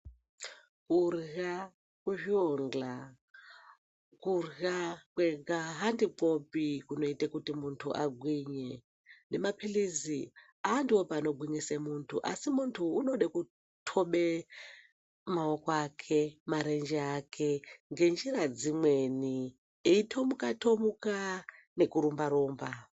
Kurya kuzvionga kurya kwega handikwopi kunoite kuti muntu agwinye nemapilizi anfiwopi anogwinyise muntu asi muntu unode kutobe maoko ake marenje aKe ngenjira dzimweni Eitomuka tomuka nekurumba rumba .